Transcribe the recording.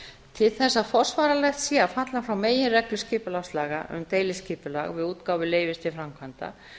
til þess að forsvaranlegt sé að falla frá meginreglu skipulagslaga um deiliskipulag við útgáfu leyfis til framkvæmda